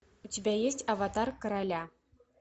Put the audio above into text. у тебя есть аватар короля